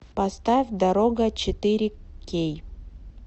поставь дорога четыре кей